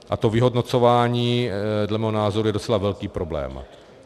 A to vyhodnocování dle mého názoru je docela velký problém.